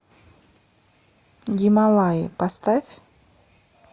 гималаи поставь